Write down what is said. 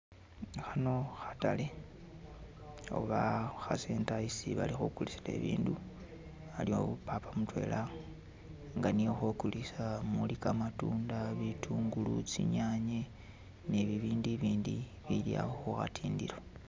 Khano khatale oba kha center esi bali khukulisila ibindu aliwo papa mutwela nga niye okhokulisa muli kamatunda, bitungulu, tsinyanye nibindu ibindi bili awo khukhatindilo